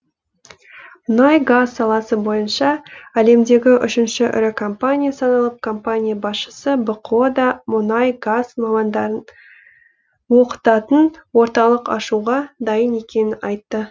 мұнай газ саласы бойынша әлемдегі үшінші ірі компания саналатын компания басшысы бқо да мұнай газ мамандарын оқытатын орталық ашуға дайын екенін айтты